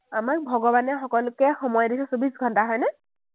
আমাক ভগৱানে সকলোকে সময় দিছে চৌবিশ ঘণ্টা, হয়নে?